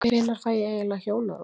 Hvenær fæ ég eiginlega hjónarúm?